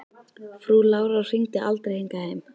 Frú Lára hringdi aldrei hingað heim.